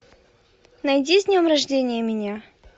найди с днем рождения меня